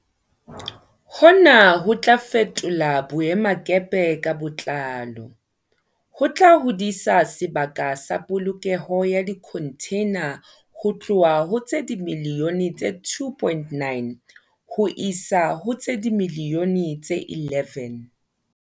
Hona ho tla fetola boemakepe ka botlalo, ho tla hodisa sebaka sa polokelo ya dikhontheina ho tloha ho tse dimiliyone tse 2.9 ho isa ho tse dimiliyone tse 11.